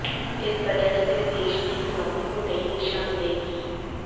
इस बजट से देश की इकोनॉमी को नई दिशा मिलेगी